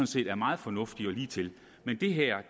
set er meget fornuftig og ligetil men det her